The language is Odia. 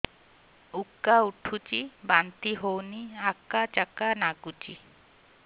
ଉକା ଉଠୁଚି ବାନ୍ତି ହଉନି ଆକାଚାକା ନାଗୁଚି